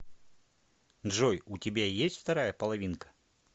джой у тебя есть вторая половинка